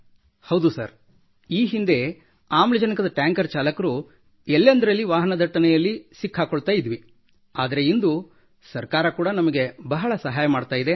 ಹೌದು ಸರ್ ಈ ಹಿಂದೆ ಆಮ್ಲಜನಕದ ಟ್ಯಾಂಕರ್ ಚಾಲಕರು ಎಲ್ಲಿಯೇ ವಾಹನ ದಟ್ಟಣೆಯ್ಲಲಿ ಸಿಲುಕಿರುತ್ತಿದ್ದೆವು ಆದರೆ ಇಂದು ಸರ್ಕಾರ ಕೂಡ ನಮಗೆ ಬಹಳ ಸಹಾಯ ಮಾಡುತ್ತಿದೆ